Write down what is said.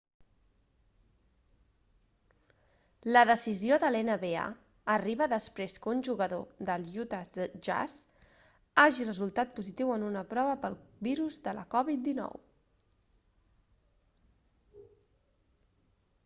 la decisió de l'nba arriba després que un jugador de l'utah jazz hagi resultat positiu en una prova pel virus de la covid-19